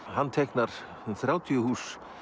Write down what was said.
hann teiknar þrjátíu hús